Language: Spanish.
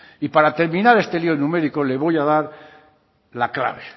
y para terminar este lío numérico le voy a dar la clave